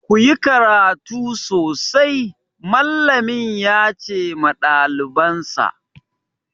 Ku yi karatu sosai! Mallami ya ce ma ɗalibansa.